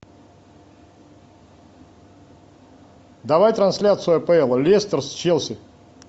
давай трансляцию апл лестер с челси